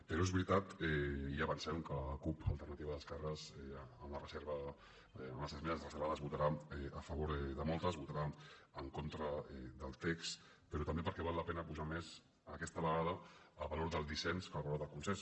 però és veritat i ja avancem que la cup alternativa d’esquerres amb les esmenes reservades votarà a favor de moltes votarà en contra del text però també perquè val la pena apujar més aquesta vegada el valor del dissens que el valor del consens